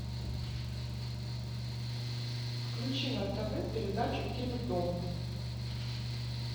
включи на тв передачу теледом